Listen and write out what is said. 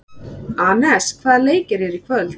Anes, hvaða leikir eru í kvöld?